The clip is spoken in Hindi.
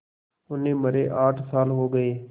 उन्हें मरे आठ साल हो गए